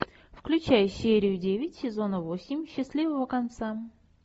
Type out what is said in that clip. включай серию девять сезона восемь счастливого конца